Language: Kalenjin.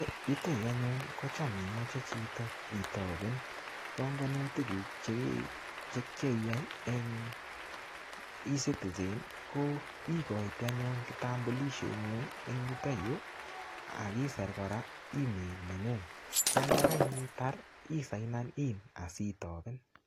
Yuto yuu anyun kocham imoche chito itoben bongonutikuk chekiyai eng ecitizen ikoitoi anyun kitambulishengung en yuto yuu ak isir kora email nengung, kondakaitar isainen asitoben.